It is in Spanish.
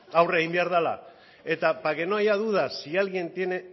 eta aurre egin behar dela eta para no haya dudas si alguien tiene